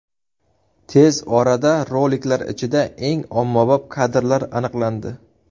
Tez orada roliklar ichida eng ommabop kadrlar aniqlandi.